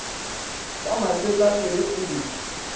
ya masetlapelo t e di